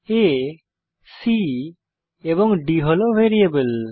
আ c এবং d হল variable